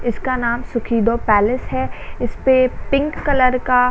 इसका नाम सुखिदो पैलेस है इसपे पिंक कलर का --